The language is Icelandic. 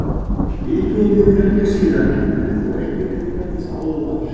Íbúum hefur fjölgað síðan en þó ekki upp í þann fjölda sem áður var.